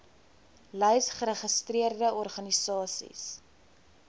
lys geregistreerde organisasies